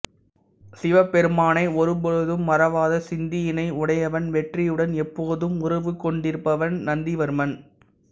சிவபெருமானை ஒரு பொழுதும் மறவாத சிந்தையினை உடையவன் வெற்றியுடன் எப்போதும் உறவு கொண்டிருப்பவன் நந்திவர்மன்